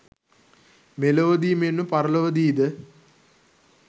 මෙලොවදී මෙන්ම පරලොවදී ද